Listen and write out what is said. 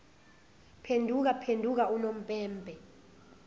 phenduka phenduka unompempe